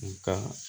N ka